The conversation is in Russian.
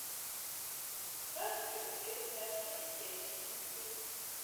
царство небесное актерские репетиции